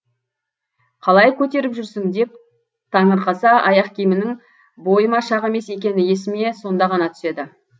қалай көтеріп жүрсің деп таңырқаса аяқ киімімнің бойыма шақ емес екені есіме сонда ғана түседі